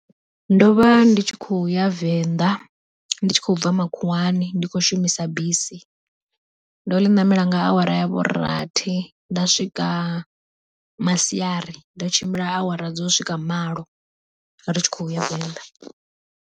Ndo vha ndi tshi kho ya venḓa ndi tshi khou bva makhuwani ndi khou shumisa bisi, ndo ḽi namela nga awara ya vhu rathi nda swika masiari ndo tshimbila awara dzo swika malo ri tshi khou ya Venḓa.